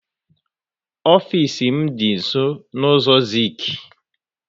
Ofisi m dị nsọ n' ụzọ Zik